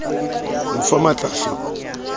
mo fa matl a fe